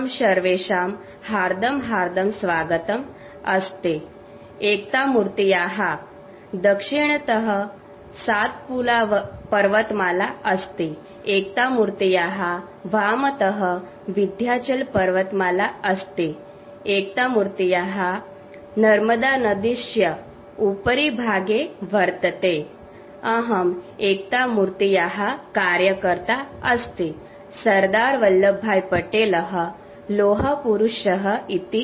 sound clip statue O F unity